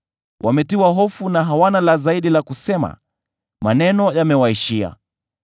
“Wametiwa hofu na hawana la zaidi la kusema; maneno yamewaishia.